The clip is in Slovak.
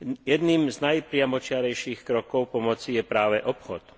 Jedným z najpriamočiarejších krokov pomoci je práve obchod.